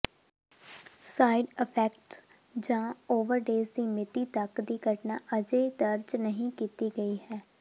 side effects ਜਾਂ overdose ਦੀ ਮਿਤੀ ਤੱਕ ਦੀ ਘਟਨਾ ਅਜੇ ਦਰਜ ਨਹੀਂ ਕੀਤੀ ਗਈ ਹੈ